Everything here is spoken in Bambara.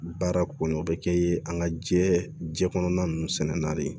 Baara kɔni o bɛ kɛ an ka diɲɛ jɛ kɔnɔna ninnu sɛnɛnen na de